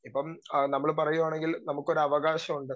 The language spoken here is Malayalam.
സ്പീക്കർ 2 ഇപ്പം നമ്മള് പറയുവാണെങ്കിൽ നമുക്കൊരു അവകാശമുണ്ട്.